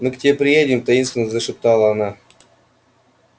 мы к тебе приедем таинственно зашептала она